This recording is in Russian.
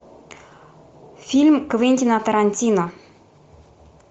фильм квентина тарантино